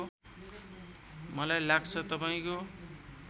मलाई लाग्छ तपाईँको